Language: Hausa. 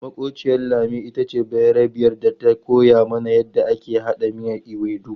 Makwabciyar Lami ita ce bayarbiyar da ta koya mana yadda ake haɗa miyan ewedu.